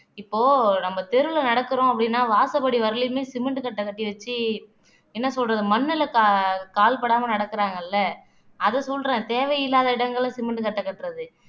இப்போ நம்ம தெருவுல நடக்குறோம் அப்படின்னா வாசப்படி வரையிலுமே சிமெண்ட் கட்டை கட்டி வச்சு என்ன சொல்றது மண்ணுல கா கால் படாம நடக்குறாங்கல்ல அது சொல்றேன் தேவையில்லாத இடங்கள்ல சிமெண்ட் கட்டை கட்டுறது